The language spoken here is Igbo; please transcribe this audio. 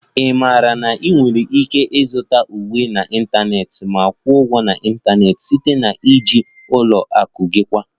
Ị maara na ị nwere ike ịzụta uwe n'ịntanetị ma kwụọ ụgwọ n'ịntanetị site na iji ụlọ akụ gị kwa